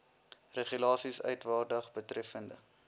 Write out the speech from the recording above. regulasies uitvaardig betreffende